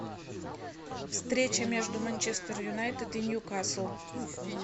встреча между манчестер юнайтед и ньюкасл